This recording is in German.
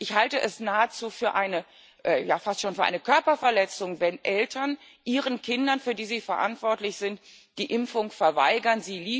Ich halte es fast schon für eine Körperverletzung, wenn Eltern ihren Kindern, für die sie verantwortlich sind, die Impfung verweigern.